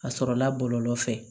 A sɔrɔla bɔlɔlɔ fɛ